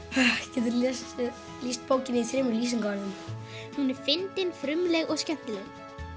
getur þú lýst bókinni í þremur lýsingarorðum hún er fyndin frumleg og skemmtileg